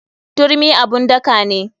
Turmi abun daka ne.